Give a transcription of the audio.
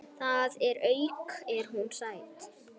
Þar að auki er hún sæt.